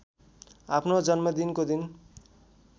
आफ्नो जन्मदिनको दिन